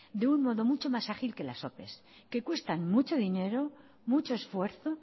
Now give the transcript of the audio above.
de un modo mucho más ágil que las ope que cuestan mucho dinero mucho esfuerzo